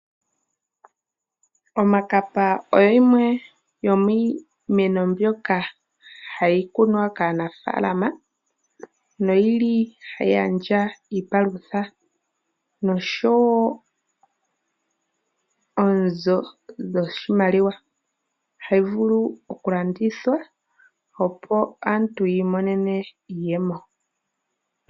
Omakapa oyo yimwe yomiimeno ndyoka hayi kunwa ka anafalama noyili tayi gandja iipalutha noshowo oonzo dho oshimaliwa. Ohayi vulu oku landithwa opo aantu yavule yi imonene iiyemo.